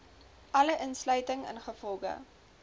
alle uitsluiting ingevolge